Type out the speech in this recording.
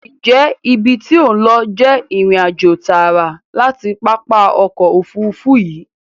Ǹjẹ́ ibi tí ò ń lọ jẹ́ ìrìnàjò tààrà láti pápá ọkọ̀ Òfurufú yìí?